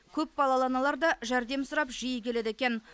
көпбалалы аналар да жәрдем сұрап жиі келеді екен